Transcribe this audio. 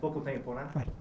Pouco tempo né